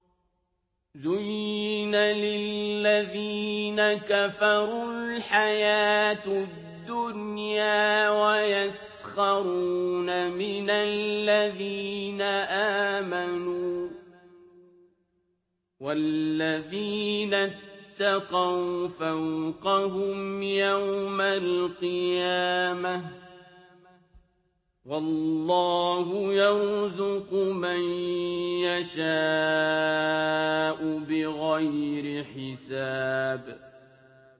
زُيِّنَ لِلَّذِينَ كَفَرُوا الْحَيَاةُ الدُّنْيَا وَيَسْخَرُونَ مِنَ الَّذِينَ آمَنُوا ۘ وَالَّذِينَ اتَّقَوْا فَوْقَهُمْ يَوْمَ الْقِيَامَةِ ۗ وَاللَّهُ يَرْزُقُ مَن يَشَاءُ بِغَيْرِ حِسَابٍ